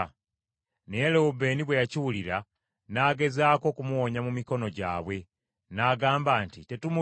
Naye Lewubeeni bwe yakiwulira n’agezaako okumuwonya mu mikono gyabwe n’agamba nti, “Tetumutta.